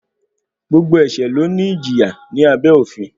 Gbogbo ẹ̀ṣẹ̀ ló ní ìjìyà ní abẹ́ òfin.